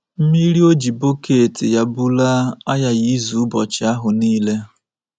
Mmiri O ji bọket ya bulaa aghaghị izu ụbọchị ahụ nile.